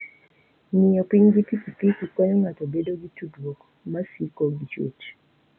Ng'iyo piny gi pikipiki konyo ng'ato bedo gi tudruok ma siko gi chwech.